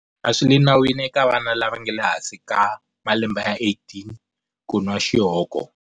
A swi le nawini eka vana lava nga ehansi ka malembe ya 18 ku nwa xihoko.